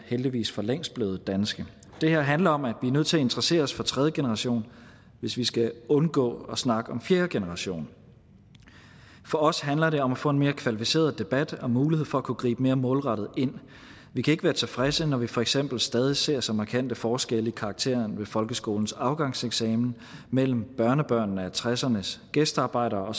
heldigvis for længst blevet danske det her handler om at vi er nødt til at interessere os for tredje generation hvis vi skal undgå at snakke om fjerde generation for os handler det om at få en mere kvalificeret debat og mulighed for at kunne gribe mere målrettet ind vi kan ikke være tilfredse når vi for eksempel stadig ser så markante forskelle i karaktererne ved folkeskolens afgangseksamen mellem børnebørnene af nitten tresserne s gæstearbejdere